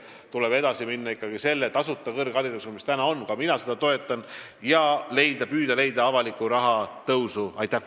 Tuleb edasi minna ikkagi tasuta kõrgharidusega, nii nagu meil praegu on – ka mina toetan seda – ja püüda leida raha juurde.